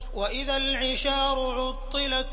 وَإِذَا الْعِشَارُ عُطِّلَتْ